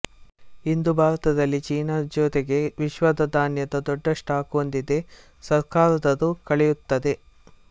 ಇಂದು ಭಾರತದಲ್ಲಿ ಚೀನಾ ಜೊತೆಗೆ ವಿಶ್ವದ ಧಾನ್ಯದ ದೊಡ್ಡ ಸ್ಟಾಕ್ ಹೊಂದಿದೆ ಸರ್ಕಾರದ ರೂ ಕಳೆಯುತ್ತದೆ